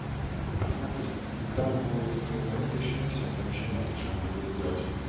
смотри там будет это ещё не все там ещё много чего надо будет сделать